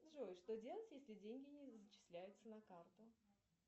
джой что делать если деньги не зачисляются на карту